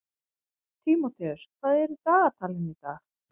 Tímóteus, hvað er í dagatalinu í dag?